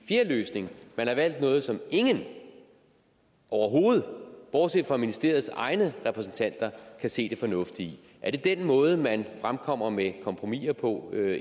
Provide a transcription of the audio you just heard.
fjerde løsning man har valgt noget som ingen overhovedet bortset fra ministeriets egne repræsentanter kan se det fornuftige i er det den måde man fremkommer med kompromiser på